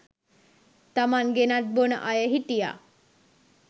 තමන් ගෙනත් බොන අය හිටියා